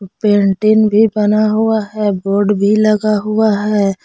Painting भी बना हुआ है बोर्ड भी लगा हुआ है।